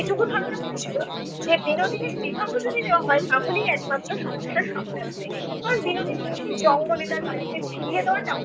এটুকু ধারণা করেছিল যে বিনোদিনীর বিবাহ যদি দেওয়া হয় তাহলেই একমাত্র সমস্যার সমাধান হবে। কারণ বিনোদিনীকে জঙ্গলে তার বাড়িতে ফিরিয়ে দেওয়াটাও